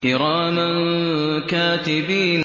كِرَامًا كَاتِبِينَ